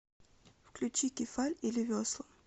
включи кефаль или весла